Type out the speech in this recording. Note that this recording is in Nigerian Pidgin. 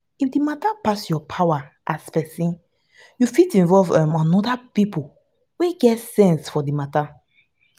if di matter pass your power as person you fit involve um oda pipo wey get sense for di matter